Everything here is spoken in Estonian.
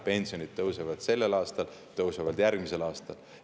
Pensionid tõusevad sellel aastal, tõusevad järgmisel aastal.